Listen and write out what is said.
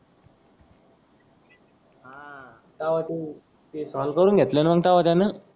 का होते ते फोन करून घेतल मंग तेव्हा त्यान.